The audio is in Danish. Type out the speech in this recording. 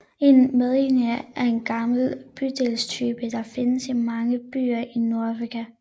En medina er en gammel bydelstype der findes i mange byer i Nordafrika